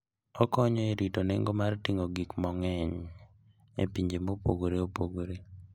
Okonyo e rito nengo mar ting'o gik mang'eny e pinje mopogore opogore.